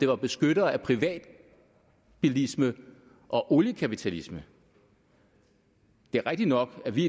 var beskyttere af privatbilisme og oliekapitalisme det er rigtigt nok at vi